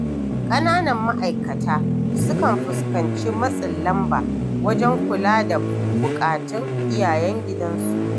Ƙananan ma’aikata sukan fuskanci matsin lamba wajen kula da buƙatun iyayen gidansu.